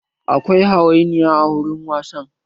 Akwai hayaniya a wurin wasan